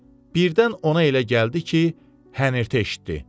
Birdən ona elə gəldi ki, hənirti eşitdi.